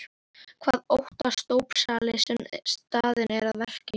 Hvað óttast dópsali sem staðinn er að verki?